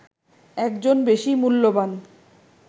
একজন বেশি মূল্যবান